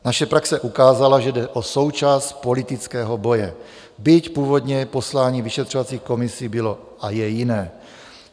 Naše praxe ukázala, že jde o součást politického boje, byť původně poslání vyšetřovacích komisí bylo a je jiné.